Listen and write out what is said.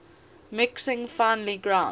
mixing finely ground